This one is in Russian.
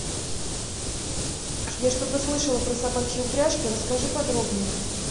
я что то слышала про собачьи упряжки расскажи подробнее